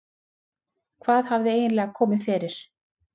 Hvað hafði eiginlega komið fyrir?